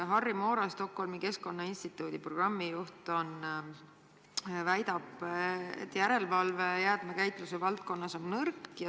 Harri Moora, Stockholmi Keskkonnainstituudi programmijuht, väidab, et järelevalve jäätmekäitluse valdkonnas on nõrk.